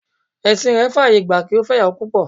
Ẹ̀sìn rẹ̀ faye gba kí ó fẹ́ ìyàwó púpọ̀